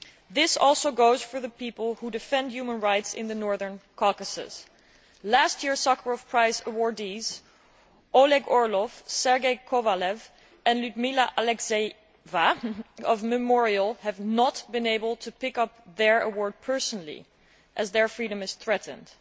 This also goes for the people who defend human rights in the Northern Caucasus. Last year's Sakharov Prize awardees Oleg Orlov, Sergei Kovalev and Lyudmila Alexeyeva, of Memorial, have not been able to pick up their award personally as their freedom is threatened.